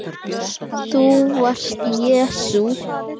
ÞÚ VARST JESÚ